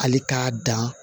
Hali k'a dan